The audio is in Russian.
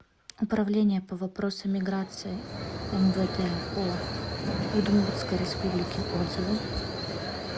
управление по вопросам миграции мвд по удмуртской республике отзывы